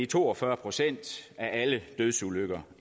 to og fyrre procent af alle dødsulykker